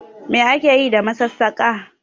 Me ake Yi da masassaka?